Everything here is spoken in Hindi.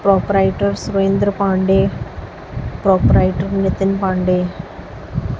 proprietor Surendra Pandey proprietor Nitin Pandey--